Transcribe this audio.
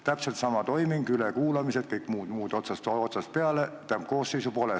Täpselt sama toiming, ülekuulamised, kõik muu otsast peale – koosseisu pole.